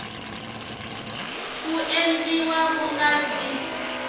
ku endliwa ku nga si